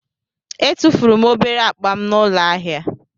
Etufuru m obere akpa m n'ụlọ ahịa.